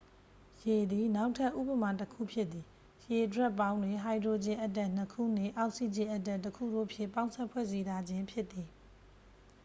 ရေသည် နောက်ထပ်ဉပမာ တစ်ခု ဖြစ်သည် ရေဒြပ်ပေါင်းတွင် ဟိုက်ဒရိုဂျင် အက်တမ် 2 ခုနှင့် အောက်ဆီဂျင်အက်တမ် 1ခု တို့ဖြင့် ပေါင်းစပ်ဖွဲ့စည်းထားခြင်းဖြစ်သည်